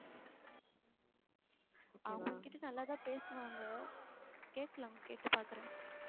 அவங்க என்கிட்ட நல்லாதான் பேசுவாங்க கேட்கலாம் கேட்டுப் பாக்கறேன்